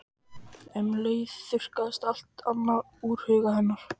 Um leið þurrkaðist allt annað úr huga hennar.